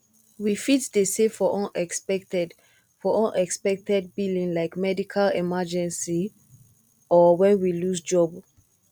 we fit dey save for unexpected for unexpected billing like medical emergency or when we lose job